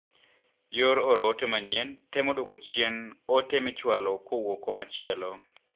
yor oro ote manyien temo duoko chien ote michwalo kowuok kumachielo.